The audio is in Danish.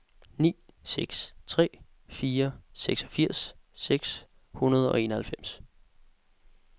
ni seks tre fire seksogfirs seks hundrede og enoghalvfems